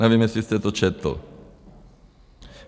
Nevím, jestli jste to četl.